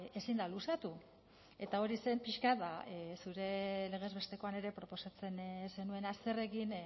ezin da luzatu eta hori zen pixka bat zure legez bestekoan ere proposatzen zenuena zer egin